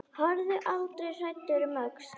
Horfðu aldrei hræddur um öxl!